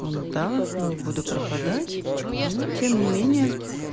он да не буду пропадать ну тем не менее